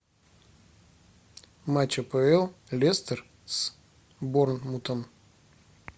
матч апл лестер с борнмутом